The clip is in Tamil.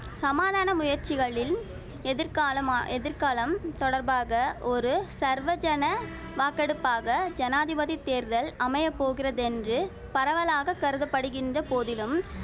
சமாதான முயற்சிகளின் எதிர்காலமா எதிர்காலம் தொடர்பான ஒரு சர்வஜன வாக்கெடுப்பாக ஜனாதிபதி தேர்தல் அமைய போகிறதென்று பரவலாக கருதப்படுகின்ற போதிலும்